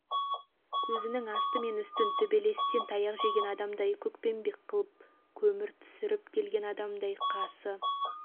мен көзін кір-қожалақтап етегін тыртитып бөксесін бұлтитып бура санын буыршық атқызып кеудесін жартылай жалаңаштап тастап